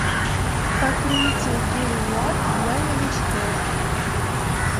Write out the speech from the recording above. покрытие гель лак для новичков